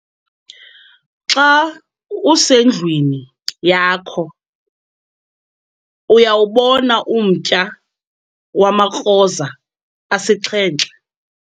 xa usendlwini yakho uyawubona umtya wamakroza asixhenxe?